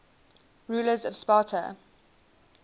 rulers of sparta